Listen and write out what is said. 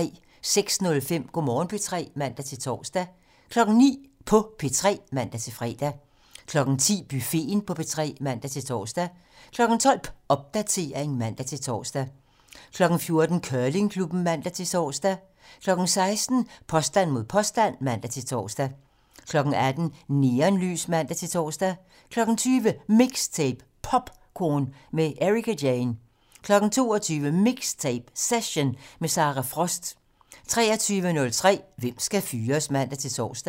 06:05: Go' Morgen P3 (man-tor) 09:00: På P3 (man-fre) 10:00: Buffeten på P3 (man-tor) 12:00: Popdatering (man-tor) 14:00: Curlingklubben (man-tor) 16:00: Påstand mod påstand (man-tor) 18:00: Neonlys (man-tor) 20:00: MIXTAPE - POPcorn med Ericka Jane 22:00: MIXTAPE - Session - med Sara Frost (man) 23:03: Hvem skal fyres? (man-tor)